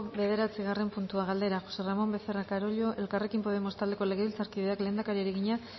bederatzigarren puntua galdera josé ramón becerra carollo elkarrekin podemos taldeko legebiltzarkideak lehendakariari egina